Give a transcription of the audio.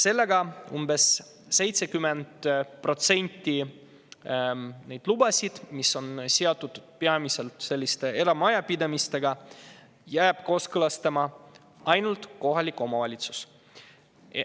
Seega jääb umbes 70% lubasid, mis on seotud peamiselt eramajapidamistega, kooskõlastama ainult kohalik omavalitsus.